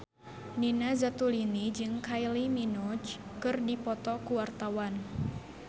Nina Zatulini jeung Kylie Minogue keur dipoto ku wartawan